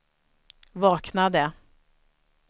vaknade